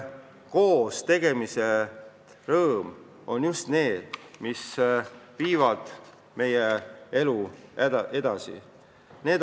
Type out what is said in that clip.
Koostegemise rõõm on just see, mis viib meie elu edasi.